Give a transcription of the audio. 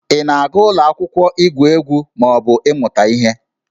Ị na-aga ụlọ akwụkwọ igwu egwu ma ọ bụ ịmụta ihe?